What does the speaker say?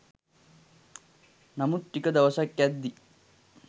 නමුත් ටික දවසක් යද්දී